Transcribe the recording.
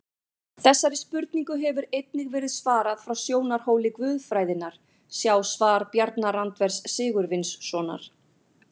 Þessari spurningu hefur einnig verið svarað frá sjónarhóli guðfræðinnar, sjá svar Bjarna Randvers Sigurvinssonar.